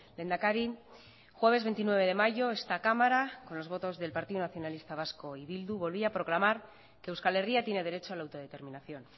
lehendakari jueves veintinueve de mayo esta cámara con los votos del partido nacionalista vasco y bildu volvía a proclamar que euskal herria tiene derecho a la autodeterminación